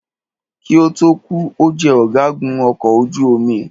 Kí ó tó kù,o jẹ ọ̀gágun ọkọ̀ ojú omi.